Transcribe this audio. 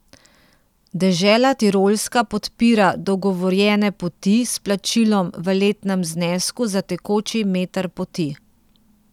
Dežela Tirolska podpira dogovorjene poti s plačilom v letnem znesku za tekoči meter poti.